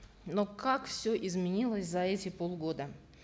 но как все изменилось за эти полгода